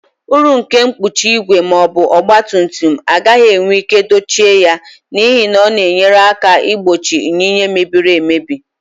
Uru nke mkpuchi igwe ma ọ bụ ọgba tum tum agaghị enwe ike dochie ya, n'ihi na ọ na-enyere aka igbochi yinye mebiri emebi.